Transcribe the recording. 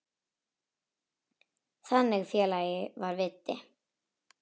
Þannig félagi var Viddi.